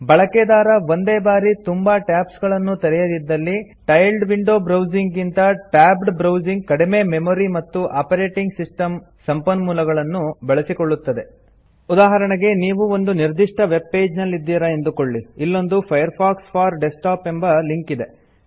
ಬಳೆಕೆದಾರ ಒಂದೇ ಬಾರಿ ತುಂಬಾ ಟ್ಯಾಬ್ಸ್ ಗಳನ್ನು ತೆರೆಯದಿದ್ದಲ್ಲಿ ಟೈಲ್ಡ್ ವಿಂಡೊ ಬ್ರೌಸಿಂಗ್ ಗಿಂತ ಟ್ಯಾಬ್ಡ್ ಬ್ರೌಸಿಂಗ್ ಕಡಿಮೆ ಮೆಮೊರಿ ಮತ್ತು ಆಪರೇಟಿಂಗ್ ಸಿಸ್ಟಮ್ ಸಂಪನ್ಮೊಲವನ್ನು ಬಳಸಿಕೊಳ್ಳುತ್ತದೆ ಉದಾಹರಣೆಗೆ ನೀವು ಒಂದು ನಿರ್ದಿಷ್ಟ ವೆಬ್ ಪೇಜ್ ನಲ್ಲಿದ್ದೀರ ಎಂದುಕೊಳ್ಳಿ ಇಲ್ಲೊಂದು ಫೈರ್ಫಾಕ್ಸ್ ಫೋರ್ ಡೆಸ್ಕ್ಟಾಪ್ ಎಂಬ ಲಿಂಕ್ ಇದೆ